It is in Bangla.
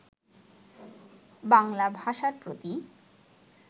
বাঙলা ভাষার প্রতি